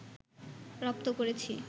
রপ্ত করেছি